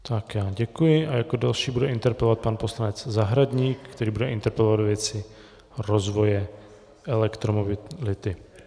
Tak já děkuji a jako další bude interpelovat pan poslanec Zahradník, který bude interpelovat ve věci rozvoje elektromobility.